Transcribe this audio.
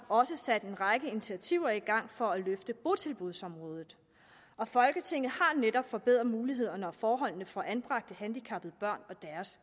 også sat en række initiativer i gang for at løfte botilbudsområdet og folketinget har netop forbedret mulighederne og forholdene for anbragte handicappede børn og